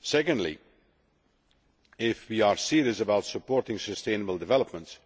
Secondly, if we are serious about supporting sustainable development,